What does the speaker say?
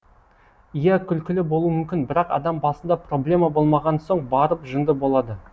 иә күлкілі болуы мүмкін бірақ адам басында проблема болмаған соң барып жынды болады